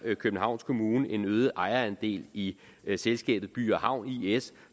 københavns kommune en øget ejerandel i selskabet by havn is